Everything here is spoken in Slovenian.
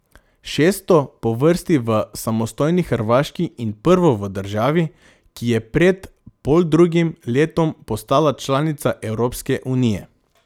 Šesto po vrsti v samostojni Hrvaški in prvo v državi, ki je pred poldrugim letom postala članica Evropske unije.